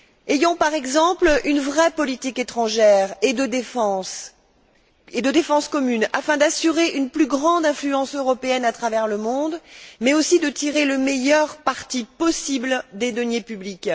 Dotons nous par exemple d'une vraie politique étrangère et de défense communes, afin d'assurer une plus grande influence européenne à travers le monde, mais aussi de tirer le meilleur parti possible des deniers publics.